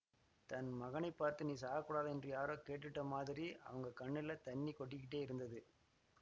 தன் மகனை பார்த்து நீ சாகக்கூடாதா ன்னு யாரோ கேட்டுட்ட மாதிரி அவங்க கண்ணில தண்ணி கொட்டிக்கிட்டே இருந்தது